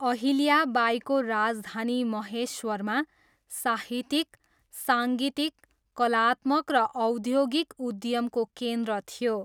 अहिल्या बाईको राजधानी महेश्वरमा साहित्यिक, साङ्गीतिक, कलात्मक र औद्योगिक उद्यमको केन्द्र थियो।